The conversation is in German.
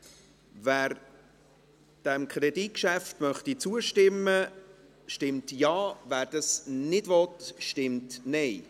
Wer diesem Kreditgeschäft zustimmen will, stimmt Ja, wer dies nicht will, stimmt Nein.